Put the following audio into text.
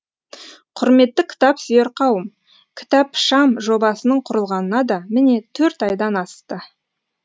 құрметті кітап сүйер қауым кітапшам жобасының құрылғанына да міне төрт айдан асты